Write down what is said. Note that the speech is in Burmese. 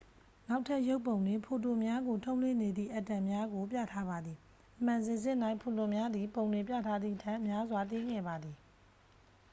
နောက်ထပ်ရုပ်ပုံတွင် ဖိုတွန်များကို ထုတ်လွှတ်နေသည့် အက်တမ်များကို ပြထားပါသည် အမှန်စင်စစ်၌ ဖိုတွန်များသည် ပုံတွင်ပြထားသည်ထက် များစွာ သေးငယ်ပါသည်